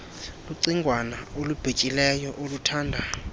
lucingwana olubhityileyo oluthanda